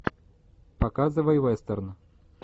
показывай вестерн